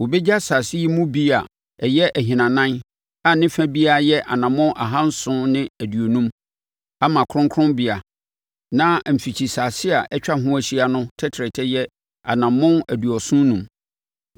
Wɔbɛgya asase yi mu bi a ɛyɛ ahinanan a ne fa biara yɛ anammɔn ahanson ne aduonum (750) ama kronkronbea, na mfikyisase a atwa ho ahyia no tɛtrɛtɛ yɛ anammɔn aduɔson enum (75).